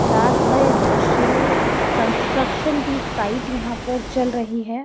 रात का यह दृश्य है कंस्ट्रक्शन की साइट यहां पर चल रही है।